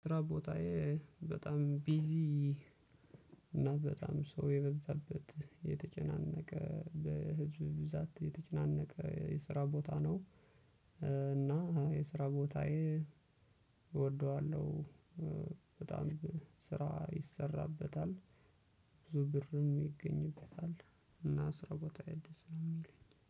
ስራ ቦታዬ በጣም ቢዚ እና በጣም ሰው የበዛበት የተጨናነቀ በህዝብ ብዛት የተጨናነቀ የስራ ቦታ ነው እና የስራ ቦታዬ እወደዋለሁ በጣም ስራ ይሰራበታል ብዙ ብርም ይገኝበታል እና ስራ ቦታዬ ደስ ነው የሚለኝ።